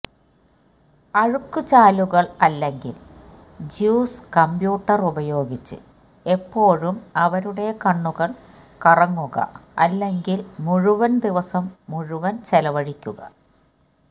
അഴുക്കുചാലുകൾ അല്ലെങ്കിൽ juice computer ഉപയോഗിച്ചു് എപ്പോഴും അവരുടെ കണ്ണുകൾ കറങ്ങുക അല്ലെങ്കിൽ മുഴുവൻ ദിവസം മുഴുവൻ ചെലവഴിക്കുക